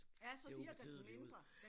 Ja så virker den mindre